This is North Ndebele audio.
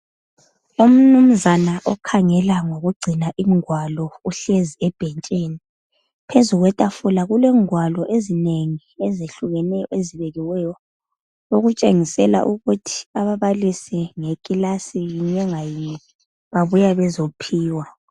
Umnumnzana okhangela ngokugcina ingwalo uhlezi ebhentshini. Phezu kwetafula kulengwalo ezinengi ezehlukeneyo ezibekiweyo, okutshengisela ukuthi ababalisi ngekilasi yinye ngayinye babuya bezophiwa.